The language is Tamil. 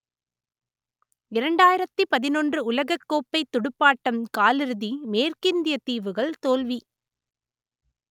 இரண்டாயிரத்து பதினொன்று உலகக்கோப்பை துடுப்பாட்டம் காலிறுதி மேற்கிந்தியத்தீவுகள் தோல்வி